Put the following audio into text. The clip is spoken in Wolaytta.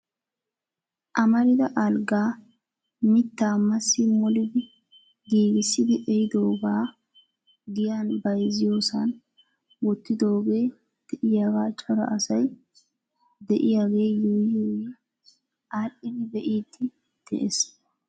Amarida alggaa mitta masi molidi giigissidi ehidoogaa giyan bayzziyoosan wottidooge de'iyaaga cora asay de'iyaage yuuyyi yuuyyi aadhdhidi be'iidi de'ees .